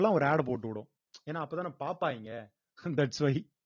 ஒரு ad போட்டுவுடும் ஏன்னா அப்பதானே பார்ப்பாய்ங்க that's why